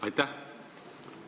Aitäh!